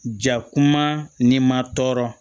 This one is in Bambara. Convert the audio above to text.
Jakuma ni ma tɔɔrɔ